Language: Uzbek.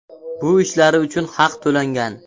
Bu ishlari uchun haq to‘langan.